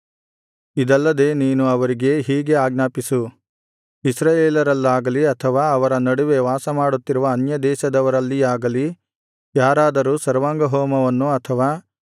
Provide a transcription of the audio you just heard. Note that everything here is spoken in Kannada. ಇದಲ್ಲದೆ ನೀನು ಅವರಿಗೆ ಹೀಗೆ ಆಜ್ಞಾಪಿಸು ಇಸ್ರಾಯೇಲರಲ್ಲಾಗಲಿ ಅಥವಾ ಅವರ ನಡುವೆ ವಾಸಮಾಡುತ್ತಿರುವ ಅನ್ಯದೇಶದವರಲ್ಲಿಯಾಗಲಿ ಯಾರಾದರೂ ಸರ್ವಾಂಗಹೋಮವನ್ನು ಅಥವಾ